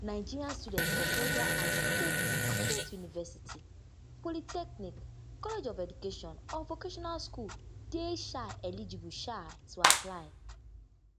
nigeria students for federal and state state university polytechnic college of education or vocational school dey um eligible um to apply